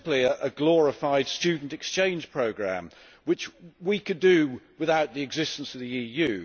It is simply a glorified student exchange programme which we could do without the existence of the EU.